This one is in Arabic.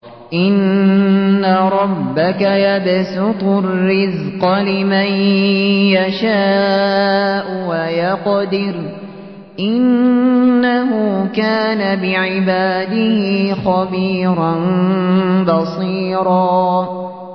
إِنَّ رَبَّكَ يَبْسُطُ الرِّزْقَ لِمَن يَشَاءُ وَيَقْدِرُ ۚ إِنَّهُ كَانَ بِعِبَادِهِ خَبِيرًا بَصِيرًا